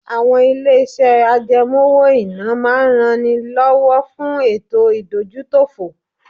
Àwọn ilé-iṣẹ́ àjẹmọ́ owó-ìná máa ń ran ni lọ́wọ́ fún ètò ìdójútòfò